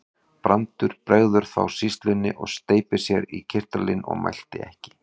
Brandur bregður þá sýslunni og steypir af sér kyrtlinum og mælti ekki.